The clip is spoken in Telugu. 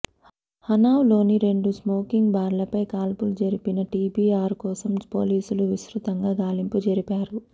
హనావ్ లోని రెండు స్మోకింగ్ బార్లపై కాల్పులు జరిపిన టోబీ ఆర్ కోసం పోలీసులు విస్తృతంగా గాలింపు జరిపారు